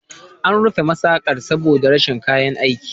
An rufe masaƙar saboda rashin kayan aiki.